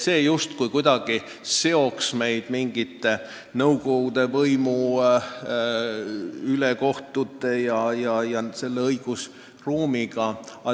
See justkui seoks meid kuidagi mingi nõukogude võimu ülekohtu ja selle õigusruumiga.